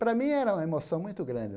Para mim, era uma emoção muito grande.